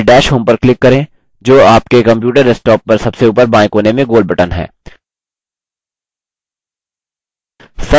सबसे पहले dash home पर click करें जो आपके computer desktop पर सबसे ऊपर बाएं कोने में गोल button है